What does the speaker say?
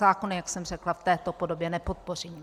Zákon, jak jsem řekla, v této podobě nepodpořím.